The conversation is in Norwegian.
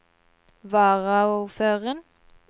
varaordføreren